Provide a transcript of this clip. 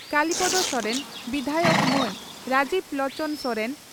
ᱠᱟᱞᱤᱯᱚᱫᱚ ᱥᱚᱨᱮᱱ ᱵᱤᱫᱷᱟᱭᱚᱠ ᱢᱟᱱ ᱨᱟᱡᱤᱵᱽ ᱞᱚᱪᱚᱱ ᱥᱚᱨᱮᱱ